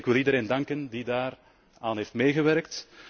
En ik wil iedereen danken die daaraan heeft meegewerkt.